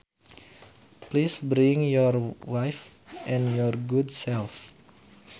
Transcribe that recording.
Please bring your wife and your good self